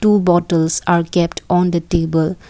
two bottles are kept on the table.